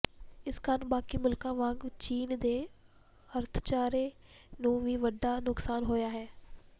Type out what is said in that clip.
ਇਸ ਕਾਰਨ ਬਾਕੀ ਮੁਲਕਾਂ ਵਾਂਗ ਚੀਨ ਦੇ ਅਰਥਚਾਰੇ ਨੂੰ ਵੀ ਵੱਡਾ ਨੁਕਸਾਨ ਹੋਇਆ ਹੈ